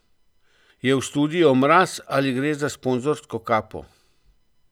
Je v studiu mraz ali gre za sponzorsko kapo?